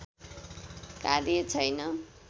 कार्य छैन।